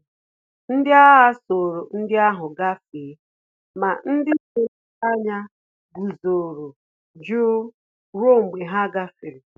Ndị agha soro ụgbọala ndi ahụ gafee, ma ndị na-ele anya guzoro jụụ ruo mgbe ha gafere